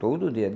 Todo dia.